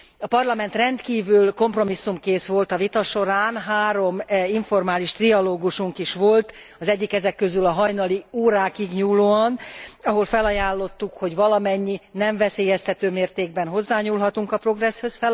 A Parlament rendkívül kompromisszumkész volt a vita során, három informális trialógusunk is volt, az egyik ezek közül a hajnali órákig nyúlóan, ahol felajánlottuk, hogy valamilyen nem veszélyeztető mértékben hozzányúlhatunk a Progresszhez.